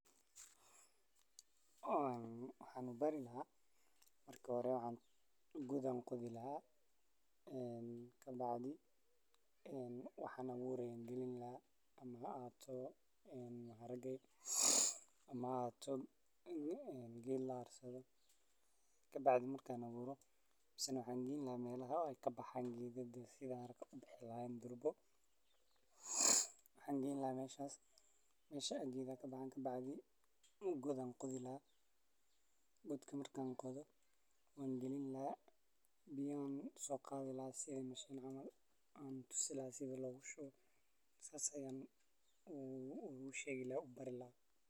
Ee waxaan u bari lahaa, markii hore god ayaan qodi lahaa, ee ka bacdi waxaan wurayaa iniin ama geedka aan doonayo in uu koro. Kadibna waxaan ku daboolayaa ciid si tartiib ah, anigoo hubinaya in aysan aad u adkaan ama aad u jilicsanayn. Waxaa sidoo kale muhiim ah in si fiican loo waraabiyo si iniintu ay u dhaqaaqdo una bilowdo koritaanka. Intaas ka dib waxaan ilaalinayaa meesha, cayayaanka iyo xoolaha waxaan ka ilaalinayaa, si geedkaas uu u helo fursad uu ku koro una noqdo mid miro dhal ah ama hadba ujeedada loo beeray.